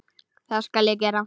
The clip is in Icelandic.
Það skal ég gera.